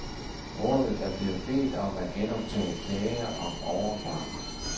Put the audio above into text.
Rådet er blevet bedt om at genoptage klage om overfart.